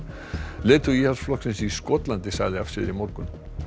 leiðtogi Íhaldsflokksins í Skotlandi sagði af sér í morgun